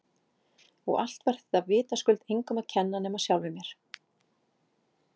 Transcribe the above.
Og allt var þetta vitaskuld engum að kenna nema sjálfum mér!